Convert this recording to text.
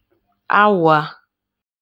Awa.